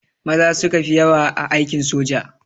Maza suka fi yawa a aikin soja